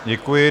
Děkuji.